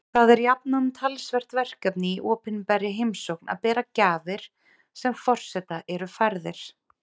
Það er jafnan talsvert verkefni í opinberri heimsókn að bera gjafir sem forseta eru færðar.